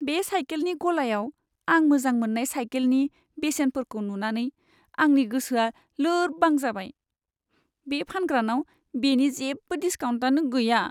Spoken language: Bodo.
बे साइकेलनि गलायाव आं मोजां मोन्नाय साइकेलनि बेसेनफोरखौ नुनानै आंनि गोसोआ लोरबां जाबाय। बे फानग्रानाव बेनि जेबो डिसकाउन्टआनो गैया।